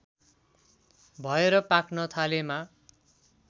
भएर पाक्न थालेमा